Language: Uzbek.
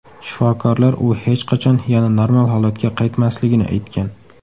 Shifokorlar u hech qachon yana normal holatga qaytmasligini aytgan.